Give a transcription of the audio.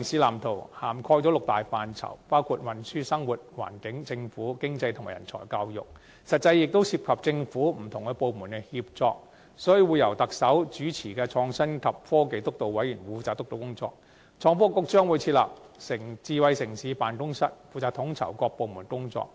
《藍圖》涵蓋六大範疇，包括運輸、生活、環境、政府、經濟及人才教育，實際上亦涉及政府不同部門的協作，所以會由特首主持的創新及科技督導委員會負責督導工作，而創新及科技局將會設立智慧城市辦公室，負責統籌各部門的工作。